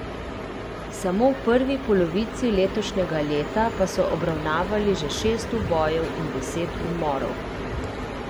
Samo v prvi polovici letošnjega leta pa so obravnavali že šest ubojev in deset umorov.